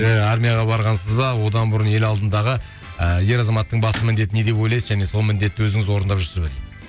ыыы армияға барғансыз ба одан бұрын ел алдындағы ыыы ер азаматтың басты міндеті не деп ойлайсыз және сол міндетті өзіңіз орындап жүрсіз бе дейді